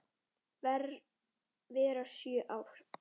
vera sjö ár!